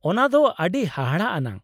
ᱚᱱᱟ ᱫᱚ ᱟᱹᱰᱤ ᱦᱟᱦᱟᱲᱟᱜ ᱟᱱᱟᱜ !